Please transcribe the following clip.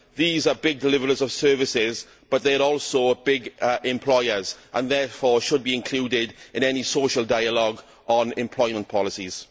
These are big deliverers of services, but they are also big employers, and therefore should be included in any social dialogue on employment policies.